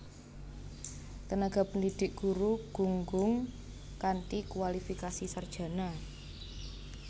Tenaga pendidik guru gunggung kanthi kuwalifikasi sarjana